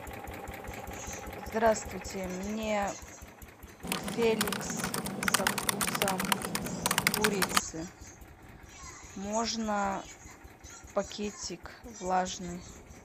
здравствуйте мне феликс со вкусом курицы можно пакетик влажный